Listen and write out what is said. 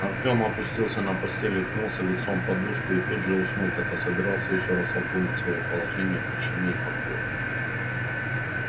артём опустился на постель уткнулся лицом в подушку и тут же уснул хотя собирался ещё раз обдумать своё положение в тишине и покое